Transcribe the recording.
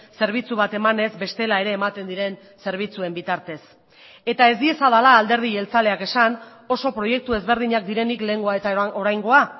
zerbitzu bat emanez bestela ere ematen diren zerbitzuen bitartez eta ez diezadala alderdi jeltzaleak esan oso proiektu ezberdinak direnik lehengoa eta oraingoa